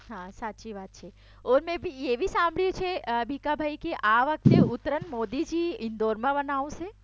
હા સાચી વાત છે મેં એ બી સાંભળ્યું છે બીકાભાઈ આ વખતે ઉત્તરાયણ મોદીજી ઇન્દોરમાં મનાવશે?